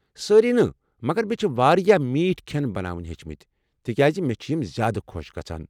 سٲرِی نہٕ، مگر مےٚ چھِ واریاہ میٹھِ كھین بناونہٕ ہیٚچھمٕتۍ، تِکیٚازِ مےٚ چھِ یِم زیادٕ خۄش گژھان۔